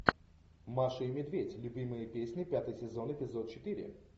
маша и медведь любимые песни пятый сезон эпизод четыре